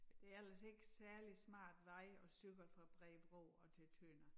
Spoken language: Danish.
Det ellers ikke særlig smart vej at cykle fra Bredebro og til Tønder